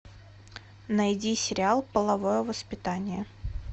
найди сериал половое воспитание